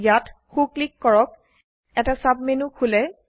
ইয়াত সো ক্লিক কৰক এটা সাবমেনু খোলে